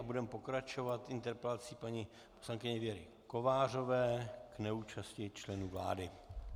A budeme pokračovat interpelací paní poslankyně Věry Kovářové k neúčasti členů vlády.